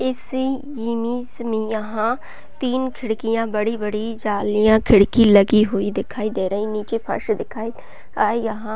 इसी यिमिज़ में यहाँ तीन खिड़कियाँ बड़ी-बड़ी जालियाँ खिड़की लगी हुई दिखाई दे रही नीचे फर्श दिखाई दे रहा यहाँ--